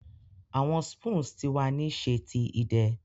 Awọn spoons ti wa ni ṣe ti idẹ